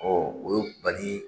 o ye bali